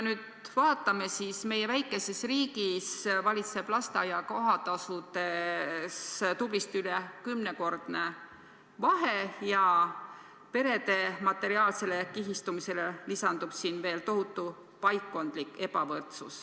Meie väikeses riigis aga valitseb lasteaia kohatasudes tublisti üle kümnekordne vahe ja perede materiaalsele kihistumisele lisandub siin veel tohutu paikkondlik ebavõrdsus.